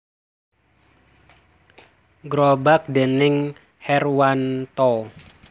Grobak déning Herwanto